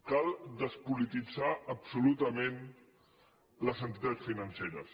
cal despolitit·zar absolutament les entitats financeres